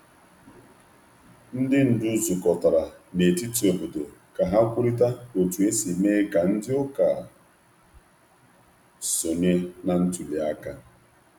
Ndị ndú zukọrọ n’ogige ógbè iji kparịta itinye aka n’ịtụ vootu n’etiti ọgbakọ.